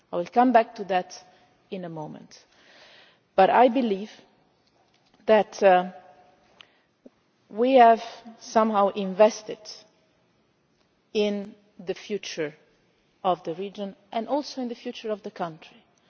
I will come back to that in a moment, but I believe that we have somehow invested in the future of the region and in the future of the country too.